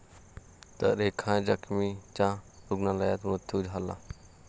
तर एका जखमीचा रुग्णालयात मृत्यू झाला.